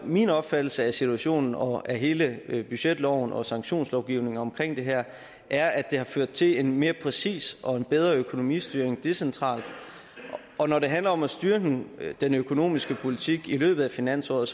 min opfattelse af situationen og af hele budgetloven og sanktionslovgivningen omkring det her er at det har ført til en mere præcis og bedre økonomistyring decentralt når det handler om at styre den den økonomiske politik i løbet af finansåret